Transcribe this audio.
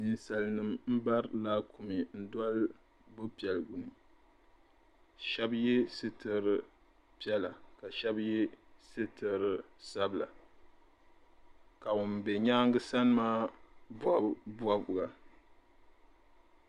Ninsalinima m bari laakumi n doli bo'piɛliguni sheba ye sitiri piɛlla ka sheba ye sitiri sabla ka ŋun be nyaanga sani maa bobi bobiga.